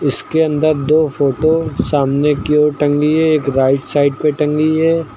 जिसके अंदर दो फोटो सामने की ओर टंगी है एक राइट साइड पे टंगी है।